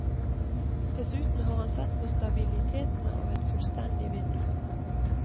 Dessuten har han sett på stabiliteten av et fullstendig vindu.